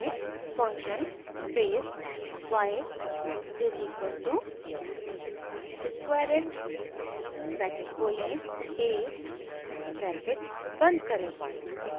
function space y is equal to squareit bracket खोलें a bracket बंद करें